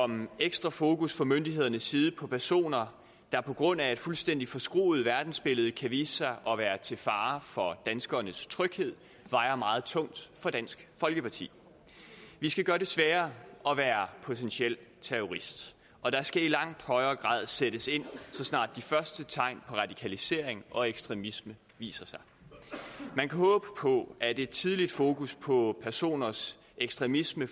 om ekstra fokus fra myndighedernes side på personer der på grund af et fuldstændig forskruet verdensbillede kan vise sig at være til fare for danskernes tryghed vejer meget tungt for dansk folkeparti vi skal gøre det sværere at være potentiel terrorist og der skal i langt højere grad sættes ind så snart de første tegn på radikalisering og ekstremisme viser sig man kan håbe på at et tidligt fokus på personers ekstremisme